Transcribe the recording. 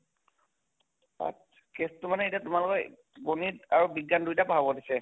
তাকেতো মানে এতিয়া তোমালোকক গণিত আৰু বিজ্ঞান দুয়োটাই পঢ়াব দিছে?